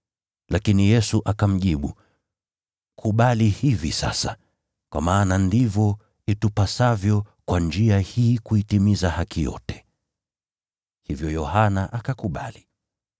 Lakini Yesu akamjibu, “Kubali hivi sasa, kwa maana ndivyo itupasavyo kwa njia hii kuitimiza haki yote.” Hivyo Yohana akakubali.